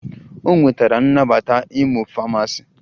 O nwetara nnabata ịmụ Famasi